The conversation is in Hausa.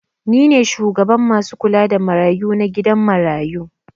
Ni ne shugaban masu kula da marayu na gidan marayu.